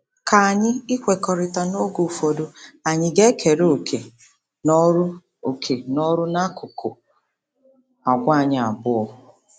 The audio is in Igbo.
K'ányi ikwekọrịta n'oge ụfọdụ anyị ga-ekere òkè n'ọrụ òkè n'ọrụ n'akụkụ àgwà anyị abuo?